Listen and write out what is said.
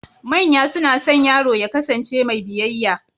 Manya suna son yaro ya ƙasance mai biyayya